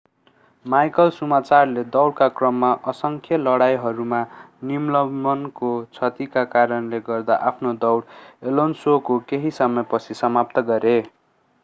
Michael शुमाचरले दौडका क्रममा असंख्य लडाईंहरूमा निलम्बनको क्षतिका कारणले गर्दा आफ्नो दौड एलोन्सोको केही समयपछि समाप्त गरे